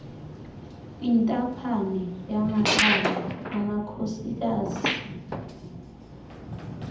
intaphane yamakhaya amakhosikazi